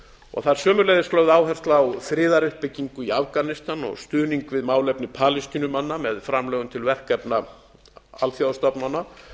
og það er sömuleiðis lögð áhersla á friðaruppbyggingu í afganistan og stuðning við málefni palestínumanna með framlögum til verkefna alþjóðastofnana